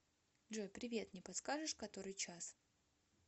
джой привет не подскажешь который час